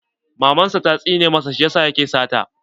Maman sa ta tsine masa shi yasa yake sata.